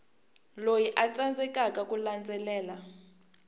loyi a tsandzekaka ku landzelela